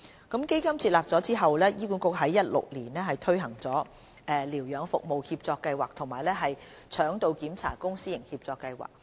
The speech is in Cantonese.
基金設立後，醫管局已在2016年推行療養服務協作計劃及腸道檢查公私營協作計劃。